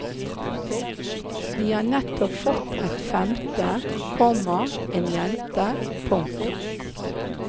De har nettopp fått et femte, komma en jente. punktum